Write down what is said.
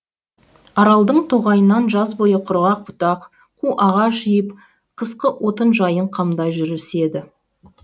аралдың тоғайынан жаз бойы құрғақ бұтақ қу ағаш жиып қысқы отын жайын қамдай жүріседі